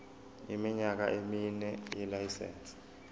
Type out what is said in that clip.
iminyaka emine yelayisense